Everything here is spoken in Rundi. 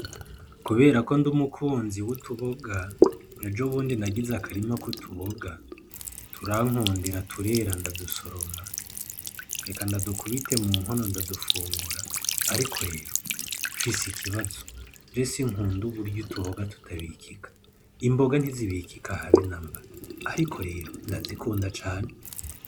Kubera ko ndi umukunzi w'utuboga, ejo bundi nagize akarima k'utuboga turankundira turera ndadusoroma reka ndadukubite mu nkono ndadufungura ariko rero mfise ikibazo je sinkunda uburyo utuboga tutabikika, imboga ntizibikika habe namba ariko rero ndazikunda cane.